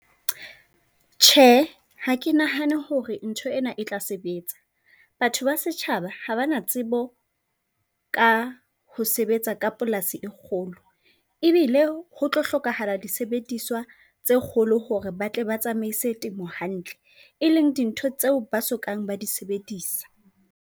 Tjhe, ha ke nahane hore ntho ena e tla sebetsa. Batho ba setjhaba ha ba na tsebo ka ho sebetsa ka polasi e kgolo e bile ho tlo hlokahala disebediswa tse kgolo hore ba tle ba tsamaise temo hantle e leng dintho tseo ba sokang ba di sebedisa.